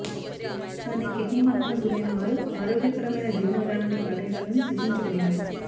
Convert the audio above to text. కానీ కిడ్నీ మార్పునకు గురైన వారు ఆరోగ్యకరమైన జీవన విధానాన్ని పాటించాలని సూచించబడింది